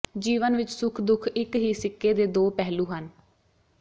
ਜੀਵਨ ਵਿੱਚ ਸੁਖ ਦੁੱਖ ਇੱਕ ਹੀ ਸਿੱਕੇ ਦੇ ਦੋ ਪਹਿਲੂ ਹਨ